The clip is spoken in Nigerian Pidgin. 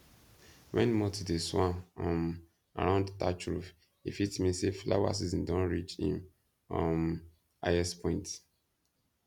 when moths dey swarm um around thatch roof e fit mean say flower season don reach im um highest point